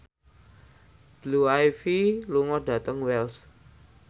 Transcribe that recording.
Blue Ivy lunga dhateng Wells